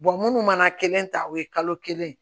munnu mana kelen ta o ye kalo kelen ye